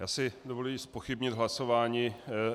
Já si dovoluji zpochybnit hlasování.